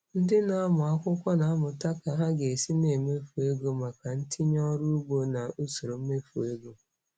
Ndị na-amụ akwụkwọ na-amụta ka ha ga-esi na-emefu ego maka ntinye ọrụ ugbo na usoro mmefu ego.